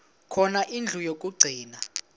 khona indlu yokagcina